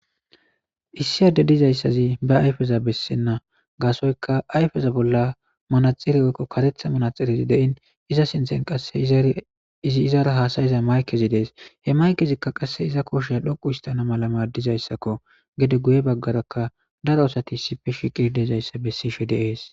issi adde dizayssazi ba ayfeza bessenna gaasoyka ayfeza bolla manaxiri oykko karetha manaxirezi de'in iza sinthen qasse izi izara haasayiza maykezi dees he maykezikka qasse iza kosheya dhoqu istana mala maaddizayssakko gede guye baggaraka daro asati sifeshiqi dezayssa bessishe de'ees